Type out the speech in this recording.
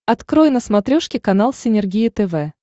открой на смотрешке канал синергия тв